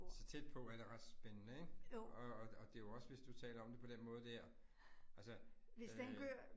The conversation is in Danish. Så tæt på er det ret spændende ik? Og og det jo også, hvis du taler om det på den måde der altså øh